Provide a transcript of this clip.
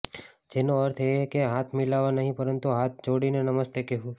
જેનો અર્થ એ કે હાથ મિલાવવા નહીં પરંતુ હાથ જોડીને નમસ્તે કહેવું